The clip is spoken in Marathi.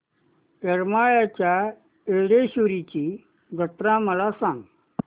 येरमाळ्याच्या येडेश्वरीची जत्रा मला सांग